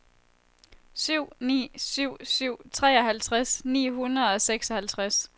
syv ni syv syv treoghalvtreds ni hundrede og seksoghalvtreds